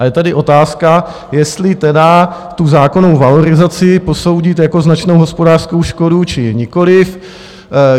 A je tady otázka, jestli tedy tu zákonnou valorizaci posoudit jako značnou hospodářskou škodu, či nikoliv.